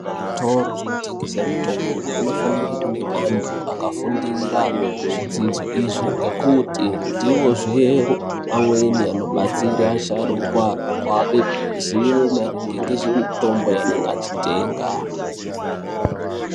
Kuzvitoro zvinotengese mitombo kunofanira kune antu akafundira zvidzidzo izvi. Ngekuti ndivozve amweni anobatsira asharukwa kuape zivo maringe nezvemitombo yanenge achitenga.